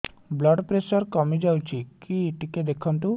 blood pressure କମି ଯାଉଛି କି ଟିକେ ଦେଖନ୍ତୁ